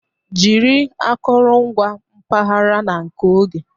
Jiri akụrụngwa mpaghara na nke oge.